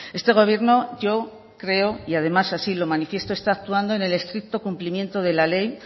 este gobierno yo creo y además así lo manifiesto está actuando en el estricto cumplimento de la ley